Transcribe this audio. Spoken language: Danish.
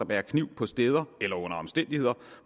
bærer kniv på steder eller under omstændigheder